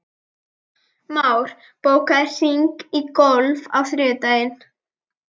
Már, bókaðu hring í golf á þriðjudaginn.